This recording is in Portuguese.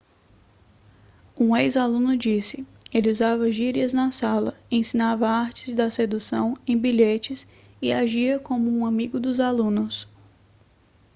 um ex-aluno disse ele usava gírias na sala ensinava artes da sedução em bilhetes e agia como um amigo dos alunos